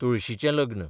तुळशीचें लग्न